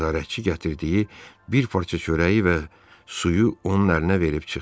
Nəzarətçi gətirdiyi bir parça çörəyi və suyu onun əlinə verib çıxdı.